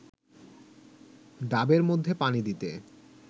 ডাবের মধ্যে পানি দিতে